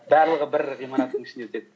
барлығы бір ғимараттың ішінде өтеді